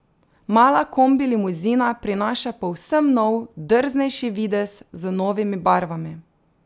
Mala kombilimuzina prinaša povsem nov, drznejši, videz, z novimi barvami.